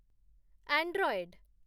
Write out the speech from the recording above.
Android